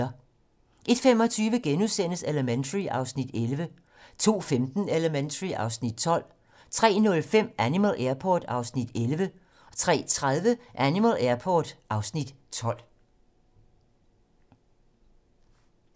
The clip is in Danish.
01:25: Elementary (Afs. 11)* 02:15: Elementary (Afs. 12) 03:05: Animal Airport (Afs. 11) 03:30: Animal Airport (Afs. 12)